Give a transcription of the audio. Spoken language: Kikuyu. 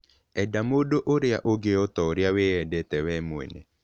Enda mũndũ ũrĩa ũngĩ o ta ũrĩa wĩendete wee mwene.